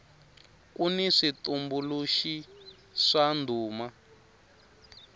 kuni switumbuluxi swa ndhuma